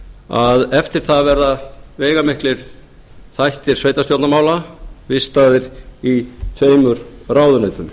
að eftir það verða veigamiklir þættir sveitarstjórnarmála vistaðir í tveimur ráðuneytum